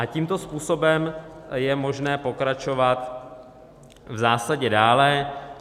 A tímto způsobem je možné pokračovat v zásadě dále.